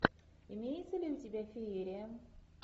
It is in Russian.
имеется ли у тебя феерия